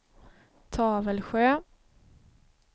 Tavelsjö